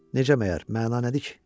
Necə məyər, məna nədir ki?